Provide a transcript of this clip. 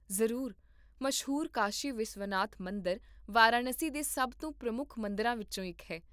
ਜ਼ਰੂਰ, ਮਸ਼ਹੂਰ ਕਾਸ਼ੀ ਵਿਸ਼ਵਨਾਥ ਮੰਦਰ ਵਾਰਾਣਸੀ ਦੇ ਸਭ ਤੋਂ ਪ੍ਰਮੁੱਖ ਮੰਦਰਾਂ ਵਿੱਚੋਂ ਇੱਕ ਹੈ